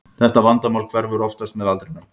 Þetta vandamál hverfur oftast með aldrinum.